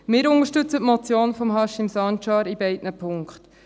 Wir unterstützen die Motion von Haşim Sancar in beiden Punkten.